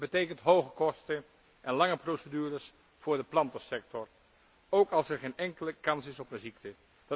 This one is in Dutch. Het betekent hoge kosten en lange procedures voor de plantensector, ook als er geen enkele kans is op een ziekte.